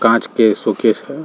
कांच के कांच के सोकेश --